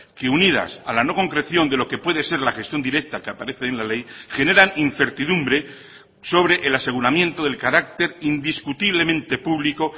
que unidas a la no concreción de lo que puede ser la gestión directa que aparece en la ley generan incertidumbre sobre el aseguramiento del carácter indiscutiblemente público